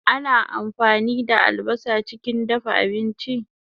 Ana ampani da albasa chikin dafa abinchi